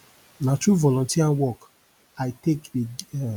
na through volunteer work i take